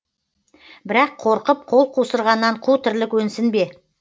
бірақ қорқып қол қусырғаннан қу тірлік өнсін бе